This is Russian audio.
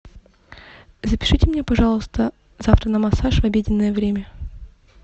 запишите меня пожалуйста завтра на массаж в обеденное время